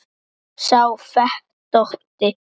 sá fetótti